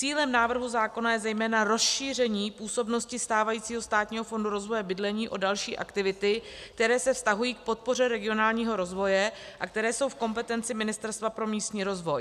Cílem návrhu zákona je zejména rozšíření působnosti stávajícího Státního fondu rozvoje bydlení o další aktivity, které se vztahují k podpoře regionálního rozvoje a které jsou v kompetenci Ministerstva pro místní rozvoj.